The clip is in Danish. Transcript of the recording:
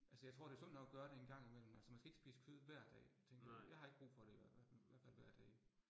Altså jeg tror det sundt nok at gøre det en gang imellem, altså man skal ikke spise kød hver dag tænker jeg. Jeg har ikke brug for det i hvert fald, hvert fald hver dag